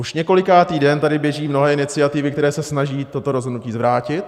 Už několikátý den tady běží mnohé iniciativy, které se snaží toto rozhodnutí zvrátit.